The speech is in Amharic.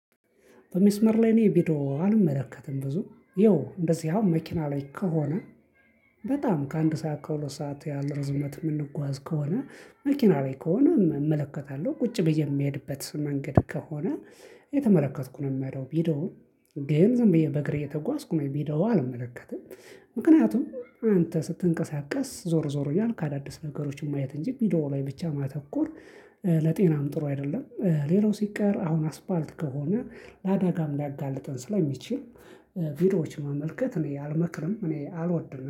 በመስመር ላይ እኔ ቢዶ አልመለከትም ብዙም ያው እንደዚህ አሁን መኪና ላይ ከሆነ በጣም ከአንድ ሰዓት ከሁለት ሰዓት ያህል ርዝመት የምንጓዝ ከሆነ መኪናዊ ከሆነ እመለከታለሁ ቁጭ ብዬ የሚሄድበት መንገድ ከሆነ የተመለከትኩ ነው ምሄደው ቢዶውን ይሄም ዝም ብዬ በእግሬ እየተጓዝኩ ነው ቢዶው አልመለከትም። ምክንያቱም አንተ ስትንቀሳቀስ ዞር ዞር እያልክ ካዳዲስ ነገሮችን ማየት እንጂ ቪዲዮ ላይ ብቻ ማተኮር ለጤናም ጥሩ አይደለም። ሌላው ሲቀር አሁን አስፋልት ከሆነ ለአዳጋም ላጋልጠን ስለሚችል ቪዲዮዎች መመልከት እኔ አልመክርም። እኔ አልወድምም